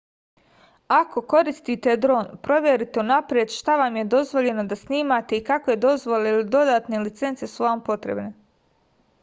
ako koristite dron proverite unapred šta vam je dozvoljeno da snimate i kakve dozvole ili dodatne licence su vam potrebne